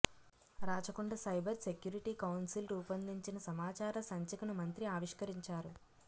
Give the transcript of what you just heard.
Rachakonda cyber security council రూపొందించిన సమాచార సంచికను మంత్రి ఆవిష్కరించారు